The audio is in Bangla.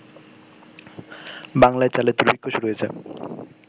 বাংলায় চালের দুর্ভিক্ষ শুরু হয়েছে